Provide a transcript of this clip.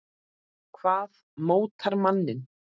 Hvað mótar manninn?